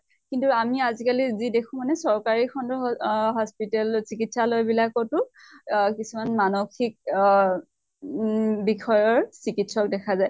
কিন্তু আমি আজি কালি যি দেখো মানে চৰকাৰী খন্ডৰ অহ hospital চিকিৎসালয় বিলাকতো অহ কিছুমান মানসিক অহ উম বিষয়ৰ চিকিৎসক দেখা যায়।